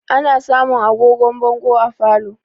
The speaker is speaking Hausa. Ana samun agogon bongo a falo